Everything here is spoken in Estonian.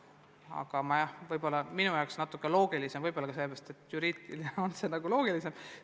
Aga minu jaoks on vahest tähtsam nende järgnevus, võib-olla ka selle pärast, et juriidiliselt on see nagu loogilisem.